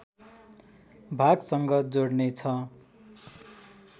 भागसँग जोड्ने छ